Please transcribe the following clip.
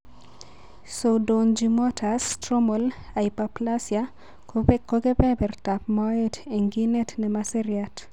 Pseudoangiomatous Stromal hyperplasia ko kebertab moet eng' kinet ne mo seriat.